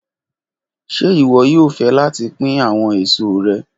Ṣe iwọ yoo fẹ lati pin awọn eso rẹ?